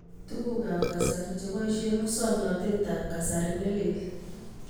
Tuguukab kasari chboisye musoknatetab kasari ne lel.